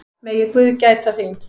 Megi guð gæta þín.